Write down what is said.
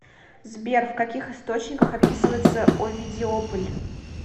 сбер в каких источниках описывается овидиополь